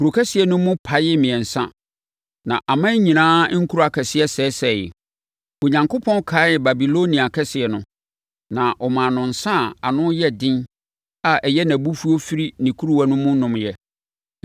Kuro kɛseɛ no mu paee mmiɛnsa, na aman nyinaa nkuro akɛseɛ sɛesɛeɛ. Onyankopɔn kaee Babilonia kɛseɛ no, na ɔmaa no nsã a ano yɛ den a ɛyɛ nʼabufuo firi ne kuruwa ano nomeɛ.